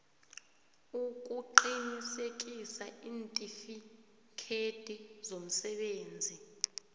ukuqinisekisa iintifikhethi zomsebenzisi